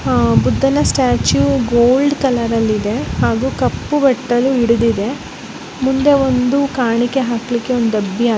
ಆಹ್ ಬುದ್ಧನ statue gold colour ಅಲ್ಲಿ ಇದೆ ಹಾಗು ಕಪ್ಪು ಬಟ್ಟಲು ಹಿಡಿದಿದೆ ಮುಂದೆ ಒಂದು ಕಾಣಿಕೆ ಹಾಕಲಿಕ್ಕೆ ಒಂದು ಡಬ್ಬಿ --